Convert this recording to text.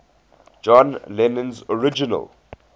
john lennon's original